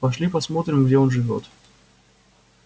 пошли посмотрим где он живёт